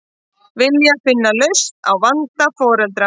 Vilja finna lausn á vanda foreldra